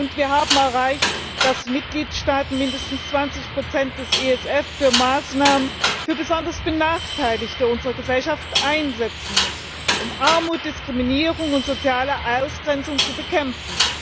Und wir haben erreicht, dass die Mitgliedstaaten mindestens 20 des ESF für Maßnahmen für besonders Benachteiligte unserer Gesellschaft einsetzen müssen, um Armut, Diskriminierung und soziale Ausgrenzung zu bekämpfen.